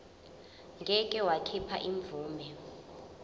ngeke wakhipha imvume